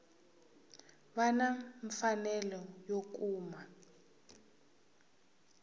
va na mfanelo yo kuma